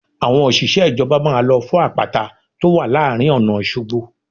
Àwọn òṣìṣẹ́ ìjọba máa lọ fọ́ àpáta tó wà láàrin ọ̀nà Òṣogbo